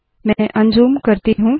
मैं unzoom unzoom करती हूँ